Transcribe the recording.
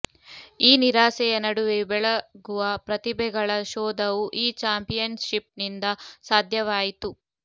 ಈ ನಿರಾಸೆಯ ನಡುವೆಯೂ ಬೆಳಗುವ ಪ್ರತಿಭೆಗಳ ಶೋಧವೂ ಈ ಚಾಂಪಿಯನ್ಷಿಪ್ನಿಂದ ಸಾಧ್ಯವಾಯಿತು